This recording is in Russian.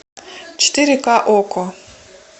четыре ка окко